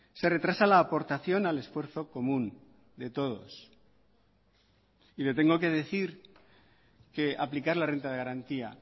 se retrasa la aportación al esfuerzo común de todos y le tengo que decir que aplicar la renta de garantía